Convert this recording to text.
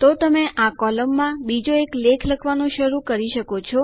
તો તમે આ કોલમમાં બીજો એક લેખ લખવાનું શરૂ કરી શકો છો